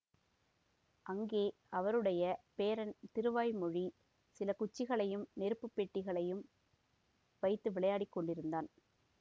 அங்கே அவருடைய பேரன் திருவாய்மொழி சில குச்சிகளையும் நெருப்புப் பெட்டிகளையும் வைத்து விளையாடிக் கொண்டிருந்தான்